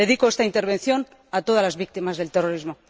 Dedico esta intervención a todas las víctimas del terrorismo.